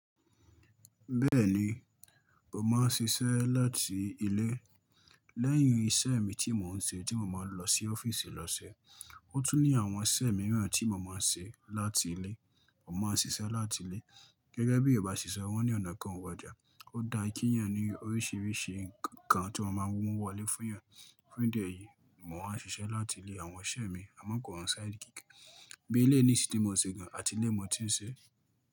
Bẹ́ẹ̀ni, mo máa ń ṣiṣẹ́ láti ilé. Lẹ́yìn iṣẹ́ mi tí mò ń ṣe tí mo máa ń lọ sí ọ́fíìsì lọ ṣe, ó tún ní àwọn iṣẹ́ mìíràn tí mo máa ń ṣe láti ilé. Mo máa ń ṣiṣẹ́ láti ilé. Gẹ́gẹ́ bí yorubá ṣe ṣọ, wọ́n ní ọ̀nà kan o wojà, ó da kí èèyàn ní oríṣiríṣi nkan tí ọ́ ma máa mú owo wọlé fún èeyàn. Ní ìdí ẹyìí, mo máa ń ṣiṣẹ́ láti ilé àwọn iṣẹ́ mi, àmọ́ kò hàn side gig. Bí eléyi nìṣìn tí mo n ṣẹ̀ gan, àti ilé ni mo ti ń ṣe.